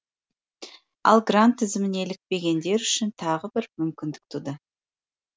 ал грант тізіміне ілікпегендер үшін тағы бір мүмкіндік туды